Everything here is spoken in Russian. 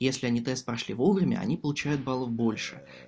если они тест прошли вовремя они получают баллов больше